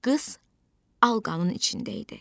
Qız alqanın içində idi.